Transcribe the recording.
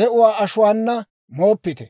de'uwaa ashuwaana mooppite.